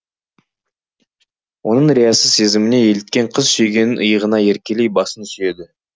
оның риясыз сезіміне еліткен қыз сүйгенінің иығына еркелей басын сүйеді